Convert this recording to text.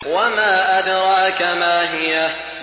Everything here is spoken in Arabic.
وَمَا أَدْرَاكَ مَا هِيَهْ